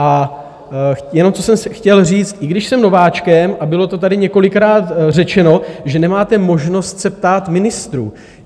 A jenom co jsem chtěl říct, i když jsem nováčkem, a bylo to tady několikrát řečeno, že nemáte možnost se ptát ministrů.